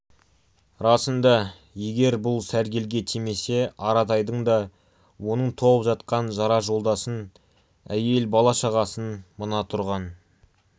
расында егер бұл сәргелге тимесе аратайдың да оның толып жатқан жора-жолдасын әйел бала-шағасын мына тұрған